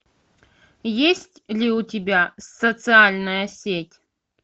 есть ли у тебя социальная сеть